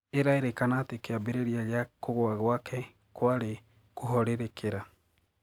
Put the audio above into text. Irairikana atĩ kiambiriria gia kugwa gwake kwari kũhoririkira.